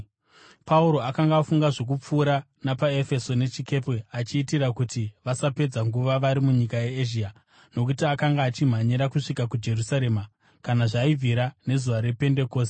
Pauro akanga afunga zvokupfuura napaEfeso nechikepe achiitira kuti vasapedza nguva vari munyika yeEzhia nokuti akanga achimhanyira kusvika kuJerusarema, kana zvaibvira, nezuva rePendekosti.